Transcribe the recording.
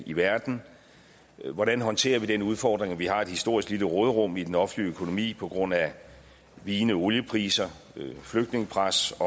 i verden hvordan håndterer vi den udfordring at vi har et historisk lille råderum i den offentlige økonomi på grund af vigende oliepriser flygtningepres